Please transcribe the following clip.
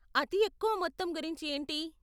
అతి ఎక్కువ మొత్తం గురించి ఏంటి?